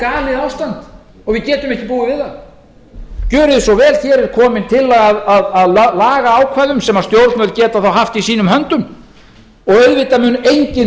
galið ástand og við getum ekki búið við það gjörið þið svo vel hér er komin tillaga að lagaákvæðum sem stjórnvöld geta þá haft í sínum höndum og auðvitað mun enginn